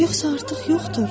Yoxsa artıq yoxdur?